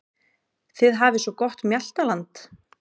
Þið hafið svo gott mjaltaland.